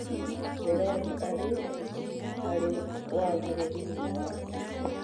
Berothi arĩ " arĩ wagĩrĩru-inĩ wake".